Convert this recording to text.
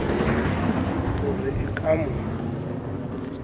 ho re e ka mo